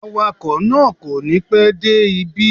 Awakọ̀ náà kò ní pẹ́ dé ibí